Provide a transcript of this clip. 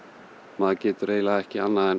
maður getur eiginlega ekki annað en